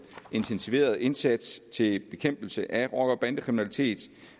intensiverede indsats til bekæmpelse af rocker bande kriminalitet